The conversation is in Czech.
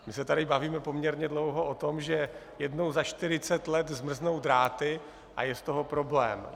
My se tady bavíme poměrně dlouho o tom, že jednou za 40 let zmrznou dráty a je z toho problém.